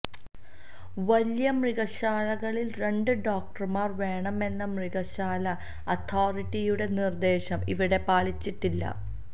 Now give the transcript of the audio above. വലിയ മൃഗശാലകളിൽ രണ്ട് ഡോക്ടർമാർ വേണമെന്ന മൃഗശാല അതോറിറ്റിയുടെ നിർദേശം ഇവിടെ പാലിച്ചിട്ടില്ല